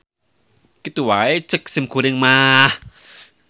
Kitu wae ceuk simkuring mah.